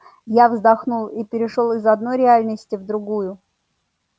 я вздохнул и перешёл из одной реальности в другую